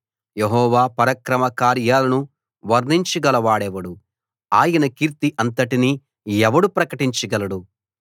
యెహోవా పరాక్రమ కార్యాలను వర్ణించగలవాడెవడు ఆయన కీర్తి అంతటినీ ఎవడు ప్రకటించగలడు